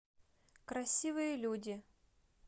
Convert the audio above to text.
красивые люди